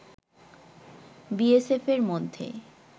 বিএসএফ-এর মধ্যে